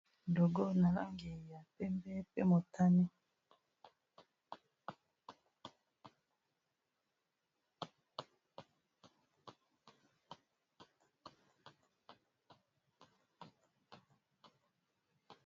Logo na langi ya pembe pe motane.